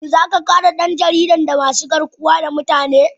Shin za a kare dan jaridar daga masu garkuwa da mutane?